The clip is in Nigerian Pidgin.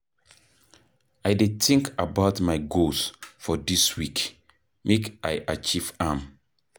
I dey think about my goals for dis week, make I achieve am.